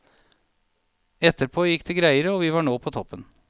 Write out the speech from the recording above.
Etterpå gikk det greiere, og så var vi på toppen.